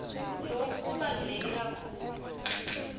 loku kubaluleke kakhulu